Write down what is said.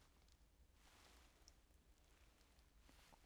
DR P3